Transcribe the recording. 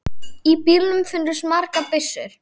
Í bílnum fundust margar byssur.